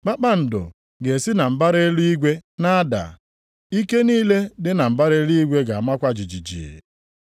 kpakpando ga-esi na mbara eluigwe na-ada, ike niile dị na mbara eluigwe ga-amakwa jijiji.’ + 13:25 \+xt Aịz 13:10; 34:4\+xt*